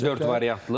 Dörd variantlı?